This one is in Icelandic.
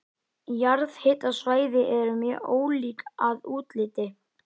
Jarðhitasvæði eru mjög ólík að útliti.